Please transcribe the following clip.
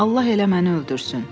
Allah elə məni öldürsün.